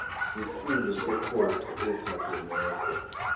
sikhulu sekhotho ephakemeko